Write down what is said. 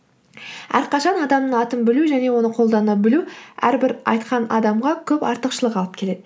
әрқашан адамның атын білу және оны қолдана білу әрбір айтқан адамға көп артықшылық алып келеді